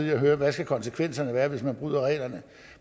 i at høre hvad konsekvenserne skal være hvis man bryder reglerne